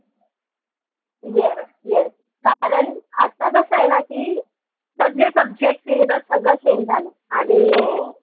yes yes कारन आता कस आय ना की, सगळे subject सगळं change झालं